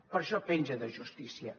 per això penja de justícia